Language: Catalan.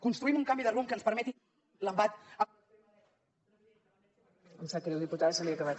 construïm un canvi de rumb que ens permeti l’embat